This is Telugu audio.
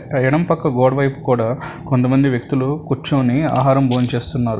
ఎడం పక్క గోడవైపు కూడా కొంతమంది వ్యక్తులు కుర్చోని ఆహారం భోంచేస్తున్నారు.